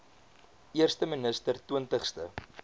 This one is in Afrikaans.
eerste minister twintigste